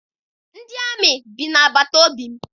Ndị amị bi na-agbata obi m.